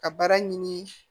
Ka baara ɲini